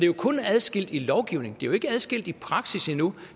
jo kun adskilt i lovgivning det er jo ikke adskilt i praksis endnu